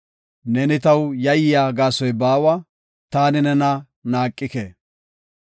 Neeni taw yayiya gaasoy baawa; taani nena naaqike.